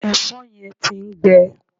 Ẹ̀̀fọ́ yẹn ti ń gbẹ